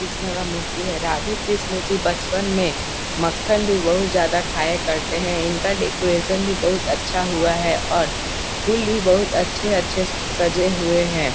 कृष्णा का मूर्ति है राधे कृष्ण जी बचपन में मक्कन भी बहुत ज्यादा खाया करते हैं। इनका डेकोरेशन भी बहुत अच्छा हुआ है और फूल भी बहुत अच्छे अच्छे से सजे हुए हैं |